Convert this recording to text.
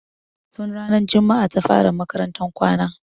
Tun ranar jumaa ta fara makarantan kwana.